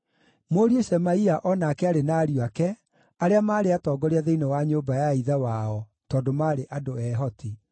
Mũriũ Shemaia o nake aarĩ na ariũ ake, arĩa maarĩ atongoria thĩinĩ wa nyũmba ya ithe wao, tondũ maarĩ andũ ehoti.